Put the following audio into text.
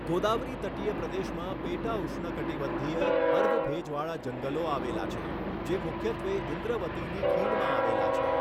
ગોદાવરી તટીય પ્રદેશમાં પેટા ઉષ્ણકટિબંધીય, અર્ધ ભેજવાળા જંગલો આવેલા છે, જે મુખ્યત્વે ઇન્દ્રવતીની ખીણમાં આવેલા છે.